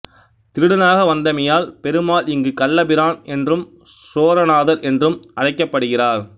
திருடனாக வந்தமையால் பெருமாள் இங்கு கள்ளபிரான் என்றும் சோரநாதர் என்றும் அழைக்கப்படுகிறார்